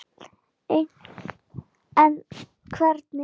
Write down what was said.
En hvernig?